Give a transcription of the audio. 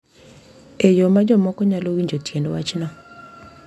E yo ma jomoko nyalo winjo tiend wachno.